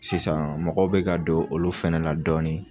Sisan mɔgɔw be ka don olu fɛnɛ la dɔɔnin.